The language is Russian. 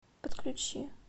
подключи